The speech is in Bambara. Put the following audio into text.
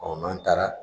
n'an taara